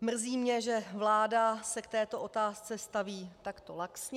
Mrzí mě, že vláda se k této otázce staví takto laxně.